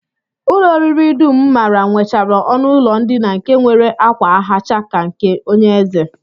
Ụlọ oriri dum m maara nwechara ọnụụlọ ndina nke nwere ákwa hacha ka nke onyeeze